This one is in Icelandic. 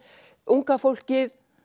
unga fólkið